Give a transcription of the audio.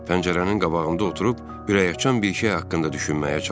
Pəncərənin qabağında oturub ürəkaçan bir şey haqqında düşünməyə çalışdım.